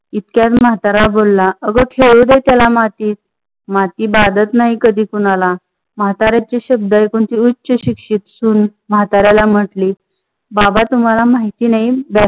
इतक्यात मातारा बोल- अग खेळूदे त्याला मातीत, माती भंडात नाही कधी कोणाला. माताऱ्याच्या संबद्ध ऐकून पीयूष ची शिक्षित सून माताऱ्याला म्हणाली- बाबा तुम्हाला माहिती नाही.